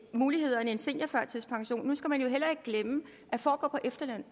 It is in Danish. muligheder end en seniorførtidspension nu skal man jo heller ikke glemme at for at gå på efterløn